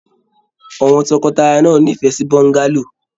Àwọn tọkọtaya náà n'ifẹ sí bọ́ngálò.